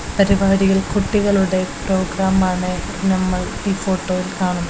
പരിപാടികൾ കുട്ടികളുടെ പ്രോഗ്രാമാണ് നമ്മൾ ഈ ഫോട്ടോയിൽ കാണുന്ന--